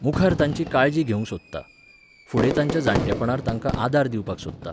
मुखार तांची काळजी घेवंक सोदतां. फुडें तांच्या जाण्टेपणार तांकां आदार दिवपाक सोदतां.